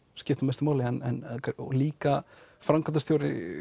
skipta mestu máli en líka framkvæmdarstjóri